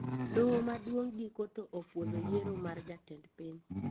Doho maduong` giko to opuodho yiero mar jatend piny